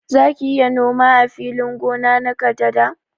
Zaki iya noma ã filin gona na kadada?